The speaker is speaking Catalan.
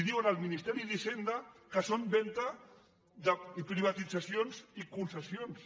diu al ministeri d’hisenda que són venda privatitzacions i concessions